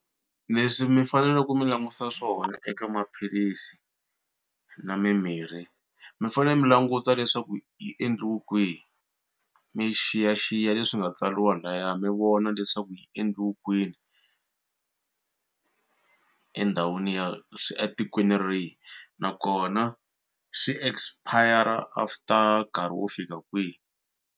Leswi mi fanele ku mi languta swona eka maphilisi na mimirhi mi fanele mi languta leswaku yi endliwi kwihi mi xiyaxiya leswi nga tsariwa laya mi vona leswaku yi endliwe kwini endhawini ya swi etikweni rihi nakona swi expire after nkarhi wo fika kwihi.